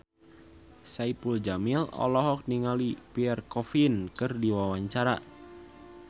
Saipul Jamil olohok ningali Pierre Coffin keur diwawancara